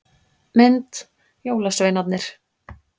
Mynd: Jólasveinarnir.